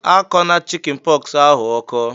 Akọna chikin pox ahu ọkọ!"